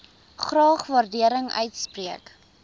graag waardering uitspreek